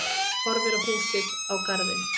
Horfir á húsið, á garðinn.